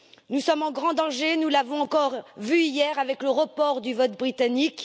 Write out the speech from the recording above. Nous sommes en grand danger, nous l'avons encore vu hier, avec le report du vote britannique.